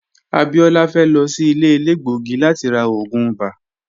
Abiola fe lo si ile elegbogi lati ra oogun ibà.